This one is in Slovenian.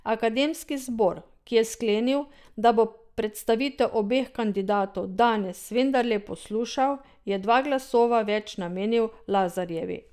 Akademski zbor, ki je sklenil, da bo predstavitev obeh kandidatov danes vendarle poslušal, je dva glasova več namenil Lazarjevi.